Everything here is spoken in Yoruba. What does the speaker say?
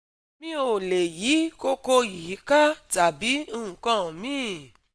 mi ò lè yí koko yìí ká tàbí nǹkan míì